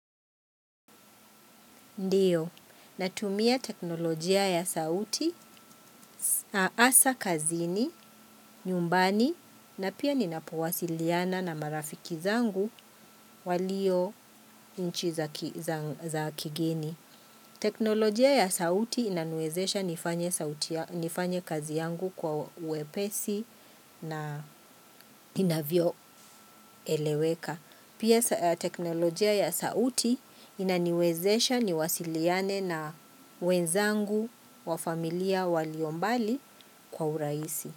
Ndiyo, natumia teknolojia ya sauti, asa, kazini, nyumbani, na pia ninapowasiliana na marafiki zangu walio inchi za kigeni. Teknolojia ya sauti inaniwezesha nifanye kazi yangu kwa wepesi na inavyo eleweka. Pia teknolojia ya sauti inaniwezesha ni wasiliane na wenzangu wa familia waliombali kwa uraisi.